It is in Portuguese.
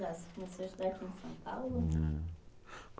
Você começou a estudar aqui em São Paulo? Não.